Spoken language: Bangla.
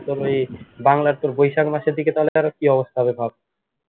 বাংলার তোর বৈশাখ মাসের দিকে তাহলে তার কি অবস্থা হবে ভাব